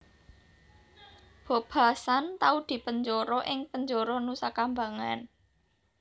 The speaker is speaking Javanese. Bob Hasan tau dipenjara ing penjara Nusakambangan